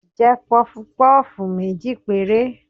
jẹ pufú pufú mejí pẹre